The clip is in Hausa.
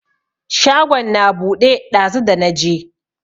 Shagon na buɗe ɗazu dana je.